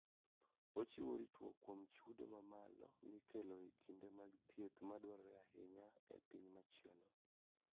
Ochiwo ritruok kuom chudo mamalo mikelo e kinde mag thieth madwarore ahinya e piny machielo.